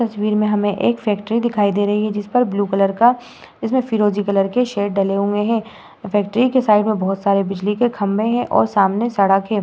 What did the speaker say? इस तस्वीर में हमें एक फैक्टरी दिखाई दे रही है जिस पर ब्लू कलर का इसमें फिरोजी कलर के शेड डले हुए हैं। फैक्ट्री के साइड में बहुत सारे बिजली के खंबे हैं और सामने सड़क है।